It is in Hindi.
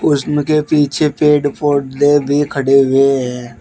उसमें के पीछे पेड़ पौधे भी खड़े हुए हैं।